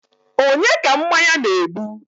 onye ka mmanya na-egbu?